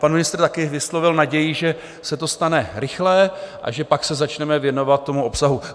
Pan ministr taky vyslovil naději, že se to stane rychle a že pak se začneme věnovat tomu obsahu.